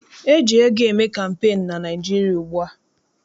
E ji ego eme kampeenu na Naịjirịa ugbua.